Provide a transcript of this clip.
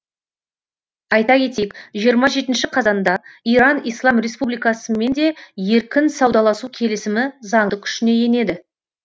айта кетейік жиырма жетінші қазанда иран ислам республикасымен де еркін саудаласу келісімі заңды күшіне енеді